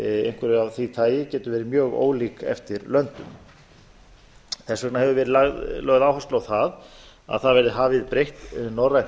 einhverju af því tagi getur verið mjög ólík eftir löndum þess vegna hefur verið lögð áhersla á að það verði hafið breitt norrænt